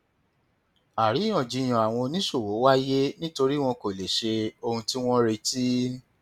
àríyànjiyàn àwọn oníṣòwò wáyé nítorí wọn kò lè ṣe ohun tí wọn retí